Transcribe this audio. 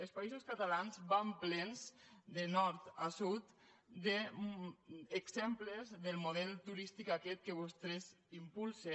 els països catalans van plens de nord a sud d’exemples del model turístic aquest que vostès impulsen